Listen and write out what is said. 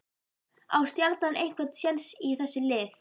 Á Stjarnan einhver séns í þessi lið?